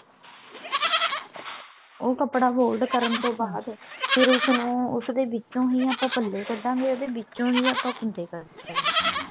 ਉਹ ਕੱਪੜਾ fold ਕਰਨ ਤੋਂ ਬਾਅਦ ਫ਼ੇਰ ਉਸਨੂੰ ਉਸ ਦੇ ਵਿੱਚੋਂ ਹੀ ਆਪਾਂ ਪੱਲੇ ਕੱਢਾਂਗੇ ਉਹਦੇ ਵਿੱਚੋਂ ਹੀ ਆਪਾਂ ਕੁੰਡੇ ਕੱਢਨੇ ਆ